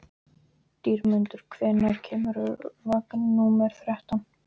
Dýrmundur, hvenær kemur vagn númer þrettán?